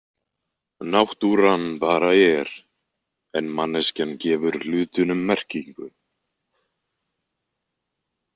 Náttúran bara er, en manneskjan gefur hlutunum merkingu.